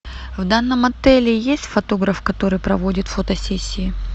в данном отеле есть фотограф который проводит фотосессии